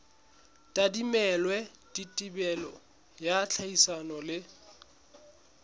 tadimilwe thibelo ya tlhodisano le